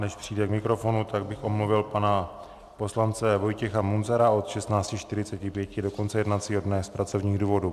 Než přijde k mikrofonu, tak bych omluvil pana poslance Vojtěcha Munzara od 16.45 do konce jednacího dne z pracovních důvodů.